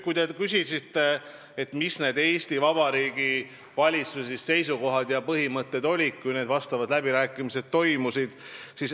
Te küsisite, mis olid Eesti Vabariigi valitsuse seisukohad ja põhimõtted, kui need läbirääkimised toimusid.